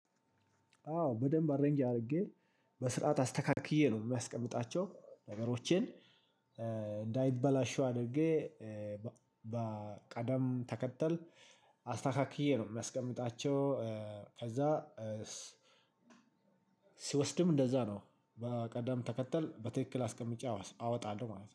አዎ በደንብ አሬንጅ አድርጌ በስርዓት አስተካክዬ ነው እማስቀምጣቸው ነገሮቼን። እንዳይበላሽው አድርጌ በቅደም ተከተል አስተካክዬ ነው እማስቀምጣቸው። ከዛ። ስወስድም እንደዛ ነው በቅደም ተከተል በትክክል አስቀምጬ አወጣለሁ ማለት ነው